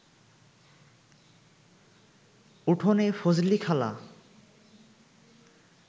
উঠোনে ফজলিখালা